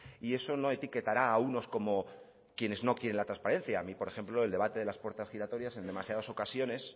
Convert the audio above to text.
y eso no etiquetará a unos como quienes no quieren la transparencia a mí por ejemplo el debate de las puertas giratorias en demasiadas ocasiones